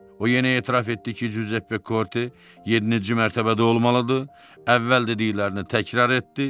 O yenə etiraf etdi ki, Cüzeppe Korte yeddinci mərtəbədə olmalıdır, əvvəl dediklərini təkrar etdi.